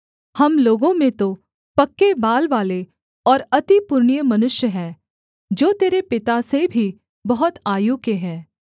हम लोगों में तो पक्के बाल वाले और अति पुरनिये मनुष्य हैं जो तेरे पिता से भी बहुत आयु के हैं